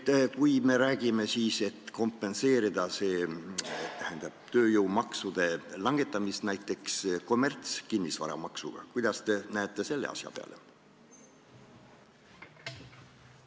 Kui me räägime tööjõumaksude langetamise kompenseerimisest näiteks kommertskinnisvara maksuga, siis kuidas te sellise asja peale vaatate?